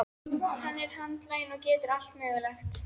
Hann er handlaginn og getur allt mögulegt.